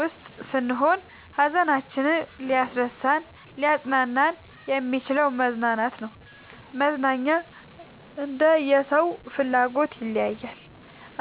ውስጥ ስንሆን ሀዘናችንን ሊያስረሳን እናሊያፅናናን የሚችለው መዝናናት ነው። መዝናናኛ እንደየ ሰው ፍላጎት ይለያያል።